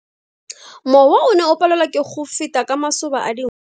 Mowa o ne o palelwa ke go feta ka masoba a dinko.